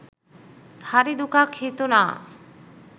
හරි දුකක් හිතුනා.